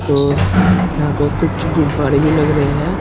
और यहां पे कुछ गुब्बारे भी लग रहे हैं।